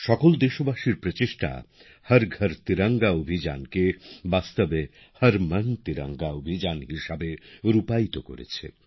সকল দেশবাসীর প্রচেষ্টা হর ঘর তিরঙ্গা অভিযানকে বাস্তবে হর মন তিরঙ্গা অভিযান হিসেবে রূপায়িত করেছে